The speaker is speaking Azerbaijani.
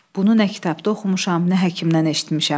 Bunu nə kitabda oxumuşam, nə həkimdən eşitmişəm.